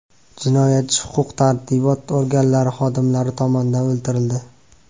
Jinoyatchi huquq-tartibot organlari xodimlari tomonidan o‘ldirildi.